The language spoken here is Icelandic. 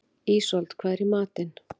Ísold, hvað er í matinn?